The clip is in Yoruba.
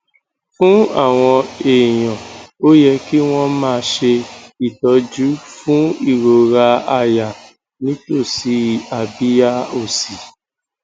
fún àwọn èèyàn ó yẹ kí wọn máa ṣe ìtọjú fún ìrora àyà nítòsí abiya òsì